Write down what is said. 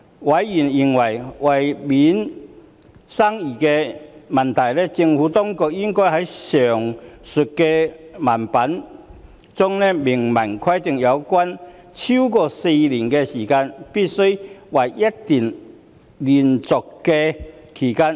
委員認為，為免生疑問，政府當局應該在上述條文中明文規定有關"超過4年"的期間須為一段連續的期間。